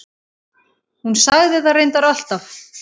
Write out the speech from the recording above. Hún sagði það reyndar alltaf.